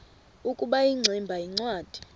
ukuba ingximba yincwadi